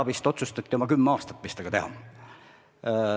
Vist oma kümme aastat arutati, mis sellega teha.